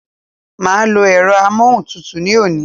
Màá lo èro amóhuntutù ní òní